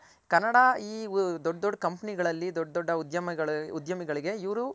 ಕನ್ನಡ ಈ ದೊಡ್ಡ್ ದೊಡ್ಡ್ company ಗಳಲ್ಲಿ ದೊಡ್ಡ್ ದೊಡ್ಡ ಉದ್ಯಮಿಗಳಿಗೆ ಇವ್ರು